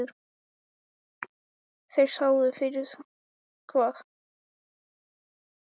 Þeir sáu fyrir hvað var vit og hvað ekki vit.